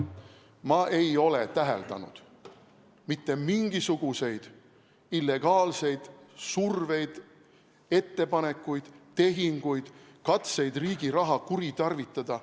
Ma ei ole täheldanud mitte mingisuguseid illegaalseid surveid, ettepanekuid, tehinguid, katseid riigi raha kuritarvitada.